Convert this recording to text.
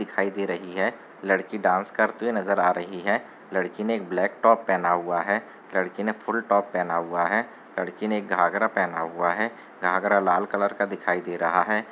दिखाई दे रही है लड़की डांस करते हुए नज़र आ रही है लड़की ने एक ब्लैक टॉप पहना हुआ है लड़की ने फुल टॉप पहना हुआ है लड़की ने एक घागरा पहना हुआ है घागरा लाल कलर का दिखाई दे रहा है।